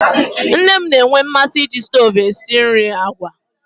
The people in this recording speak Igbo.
Nne m na-enwe mmasị iji stovu esi nri agwa